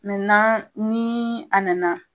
ni a nana